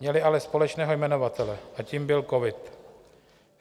Měly ale společného jmenovatele a tím byl covid.